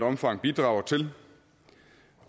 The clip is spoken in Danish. omfang bidrager til